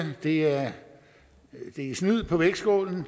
det er at snyde på vægtskålen